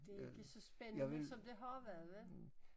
Det er ikke så spændende som det har været vel?